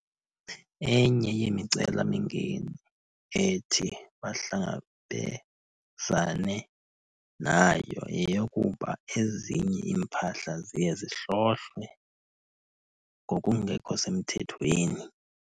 Enye yemicelamingeni ethi bahlangabezane nayo yeyokuba ezinye iimpahla ziye zihlohlwe ngokungekho semthethweni.